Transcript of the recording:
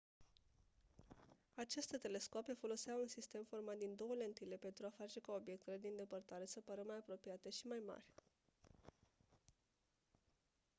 aceste telescoape foloseau un sistem format din 2 lentile pentru a face ca obiectele din depărtare se pară mai apropiate și mai mari